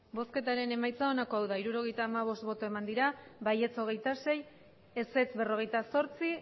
emandako botoak hirurogeita hamabost bai hogeita sei ez berrogeita zortzi